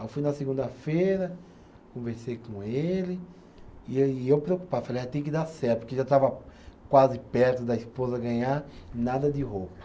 Aí eu fui na segunda-feira, conversei com ele, e eu e eu preocupado, falei, ai tem que dar certo, porque já estava quase perto da esposa ganhar, nada de roupa.